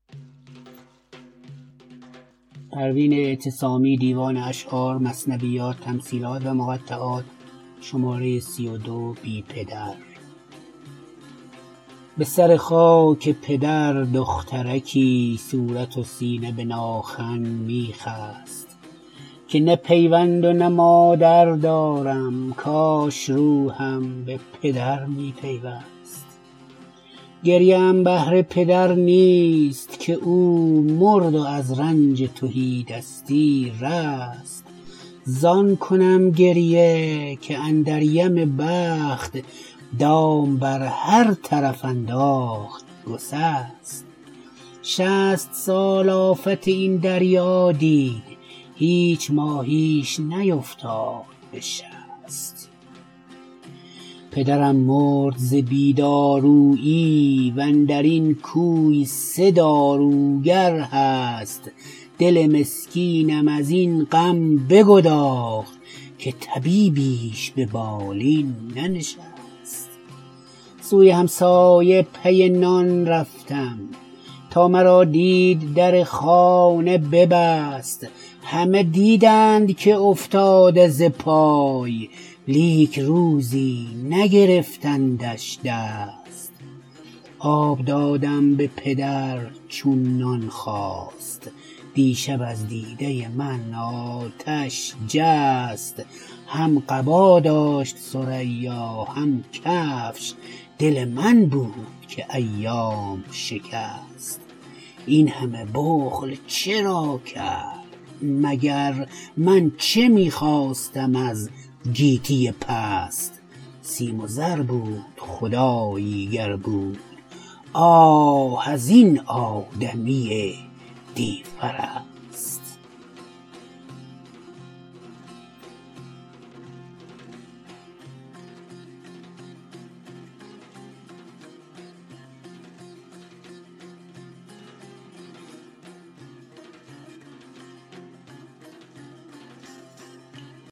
به سر خاک پدر دخترکی صورت و سینه به ناخن می خست که نه پیوند و نه مادر دارم کاش روحم به پدر می پیوست گریه ام بهر پدر نیست که او مرد و از رنج تهی دستی رست زان کنم گریه که اندر یم بخت دام بر هر طرف انداخت گسست شصت سال آفت این دریا دید هیچ ماهیش نیفتاد به شست پدرم مرد ز بی دارویی وندرین کوی سه داروگر هست دل مسکینم از این غم بگداخت که طبیبیش ببالین ننشست سوی همسایه پی نان رفتم تا مرا دید در خانه ببست همه دیدند که افتاده ز پای لیک روزی نگرفتندش دست آب دادم به پدر چون نان خواست دیشب از دیده من آتش جست هم قبا داشت ثریا هم کفش دل من بود که ایام شکست این همه بخل چرا کرد مگر من چه می خواستم از گیتی پست سیم و زر بود خدایی گر بود آه از این آدمی دیوپرست